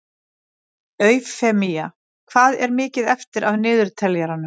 Eufemía, hvað er mikið eftir af niðurteljaranum?